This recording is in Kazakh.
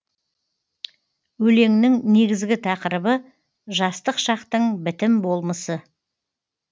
өлеңнің негізгі тақырыбы жастық шақтың бітім болмысы